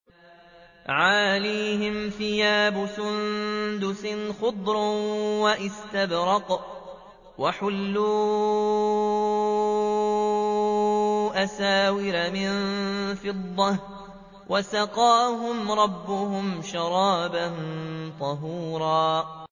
عَالِيَهُمْ ثِيَابُ سُندُسٍ خُضْرٌ وَإِسْتَبْرَقٌ ۖ وَحُلُّوا أَسَاوِرَ مِن فِضَّةٍ وَسَقَاهُمْ رَبُّهُمْ شَرَابًا طَهُورًا